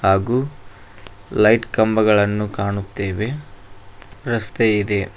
ಹಾಗೂ ಲೈಟ್ ಕಂಬಗಳನ್ನು ಕಾಣುತ್ತೇವೆ ರಸ್ತೆ ಇದೆ.